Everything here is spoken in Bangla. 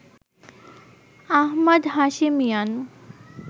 আহমাদ হাশেমিয়ান